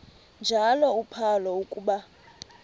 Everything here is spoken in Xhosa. njalo uphalo akuba